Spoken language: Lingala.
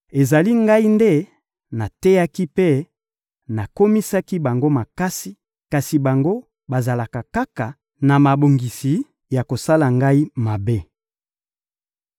Ezali Ngai nde nateyaki mpe nakomisaki bango makasi, kasi bango bazalaka kaka na mabongisi ya kosala Ngai mabe.